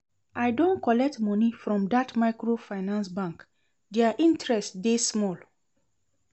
I don collect moni from dat microfinance bank, their interest dey small.